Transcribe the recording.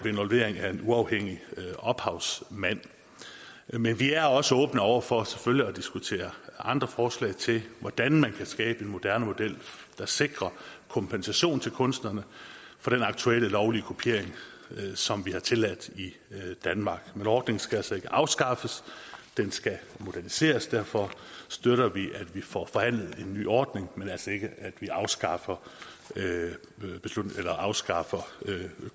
involvering af en uafhængig ophavsmand men vi er selvfølgelig også åbne over for at diskutere andre forslag til hvordan man kan skabe en moderne model der sikrer kompensation til kunstnerne for den aktuelle lovlige kopiering som vi har tilladt i danmark men ordningen skal altså ikke afskaffes den skal moderniseres derfor støtter vi at vi får forhandlet en ny ordning men altså ikke at vi afskaffer afskaffer